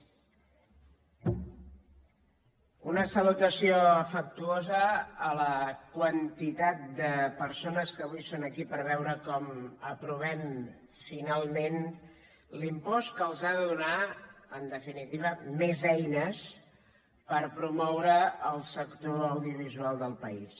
una salutació afectuo sa a la quantitat de persones que avui són aquí per veure com aprovem finalment l’impost que els ha de donar en definitiva més eines per promoure el sector audiovisual del país